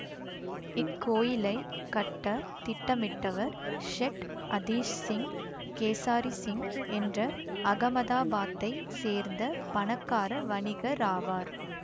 இக்கோயிலை கட்ட திட்டமிட்டவர் ஷெட் அதீஸ்சிங் கேசாரிசிங் என்ற அகமதாபாத்தைச் சேர்ந்த பணக்கார வணிகராவார்